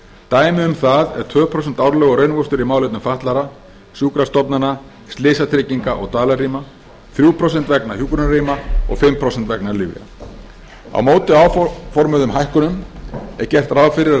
dæmi um það eru tvö prósent árlegur raunvöxtur í málefnum fatlaðra sjúkrastofnana slysatrygginga og dvalarrýma þrjú prósent vegna hjúkrunarrýma og um fimm prósent vegna lyfja á móti áformuðum hækkunum er gert ráð fyrir